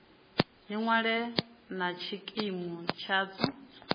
ni ṅwale na tshikimu tshadzo